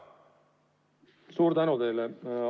Suur tänu teile!